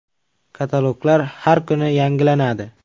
Kataloglar har kuni yangilanadi.